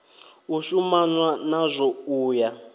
u shumanwa nazwo u ya